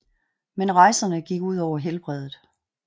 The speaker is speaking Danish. Men rejserne gik ud over helbredet